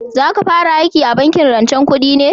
Za ka fara aiki a bankin rancen kudi ne?